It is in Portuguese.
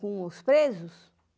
Com os presos?